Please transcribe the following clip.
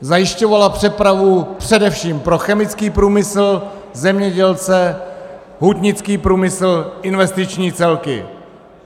Zajišťovala přepravu především pro chemický průmysl, zemědělce, hutnický průmysl, investiční celky.